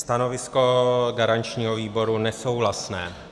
Stanovisko garančního výboru nesouhlasné.